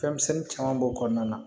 Fɛnmisɛnnin caman b'o kɔnɔna na